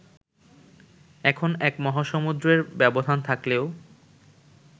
এখন এক মহাসমুদ্রের ব্যবধান থাকলেও